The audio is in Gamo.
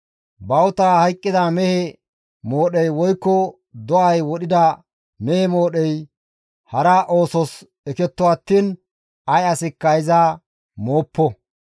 Bawuta hayqqida mehe moodhey woykko do7ay wodhida mehe moodhey hara oosos eketto attiin ay asikka iza mooppo.